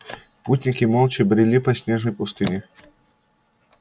путники молча брели по снежной пустыне